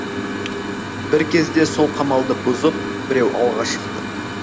бір кезде сол қамалды бұзып біреу алға шықты